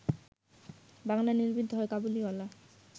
বাংলায় নির্মিত হয় ‘কাবুলিওয়ালা’